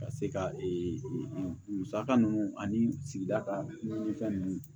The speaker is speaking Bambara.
Ka se ka ee musaka ninnu ani sigida ka ɲini fɛn ninnu